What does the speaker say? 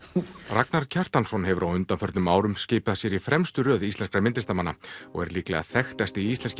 Ragnar Kjartansson hefur á undanförnum árum skipað sér í fremstu röð íslenskra myndlistarmanna og er líklega þekktasti íslenski